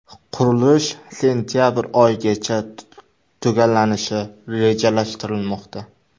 Qurilish sentabr oyigacha tugallanishi rejalashtirilmoqda.